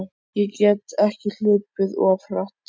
Ég get ekki hlaupið of hratt?